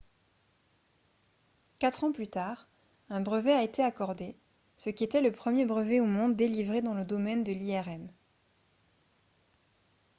quatre ans plus tard un brevet a été accordé ce qui était le premier brevet au monde délivré dans le domaine de l'irm